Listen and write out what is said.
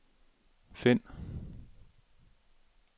find